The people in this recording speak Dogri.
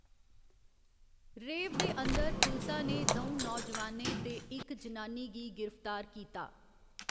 रेव दे अंदर पुलसा ने द'ऊं नौजुआनें ते इक जनानी गी गिरफ्तार कीता।